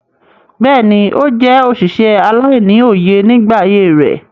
Bẹ́ẹ̀ni, ó jẹ́ òsìsẹ̀ aláìní-oyè nígbà ayé rẹ̀.